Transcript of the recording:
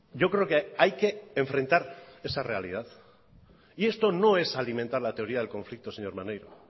yo creo que hay que enfrentar esa realidad y esto no es alimentar la teoría del conflicto señor maneiro